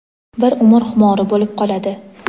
bir umr xumori bo‘lib qoladi.